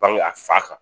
Bange a fa kan